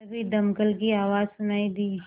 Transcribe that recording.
तभी दमकल की आवाज़ सुनाई दी